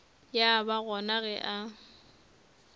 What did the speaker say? ya ba gona ge a